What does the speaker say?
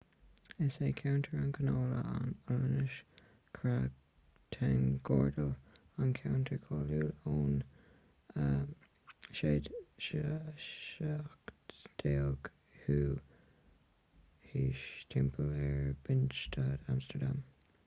is é ceantar na canála an ollainnis: grachtengordel an ceantar cáiliúil ón 17ú haois timpeall ar binnenstad amstardam